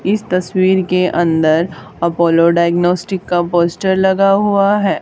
इस तस्वीर के अंदर अपोलो डायग्नोस्टिक्स का पोस्टर लगा हुआ है।